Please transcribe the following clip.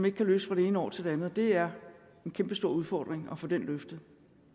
ikke kan løse fra det ene år til det andet og det er en kæmpestor udfordring at få den løftet